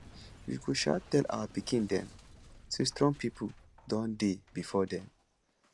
we go um tell our pikin dem say strong people don dey before dem